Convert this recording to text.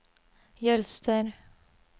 Jølster